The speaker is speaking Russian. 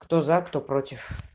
кто за кто против